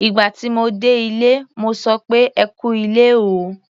Ìgbà tí mo dé ilé, mo sọ pé "ẹ kú ilé o".